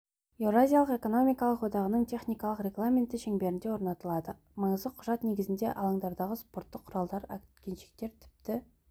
еуразиялық экономикалық одағының техникалық регламенті шеңберінде орнатылады маңызды құжат негізінде алаңдардағы спорттық құралдар әткеншектер тіпті